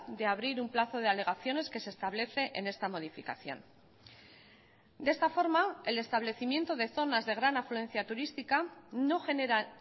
de abrir un plazo de alegaciones que se establece en esta modificación de esta forma el establecimiento de zonas de gran afluencia turística no genera